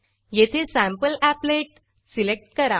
येथे sample applet sample applet select करा